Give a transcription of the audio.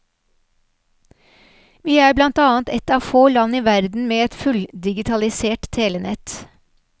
Vi er blant annet et av få land i verden med et fulldigitalisert telenett.